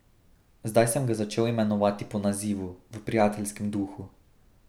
Zdaj sem ga začel imenovati po nazivu, v prijateljskem duhu.